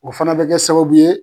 O fana bɛ kɛ sababu ye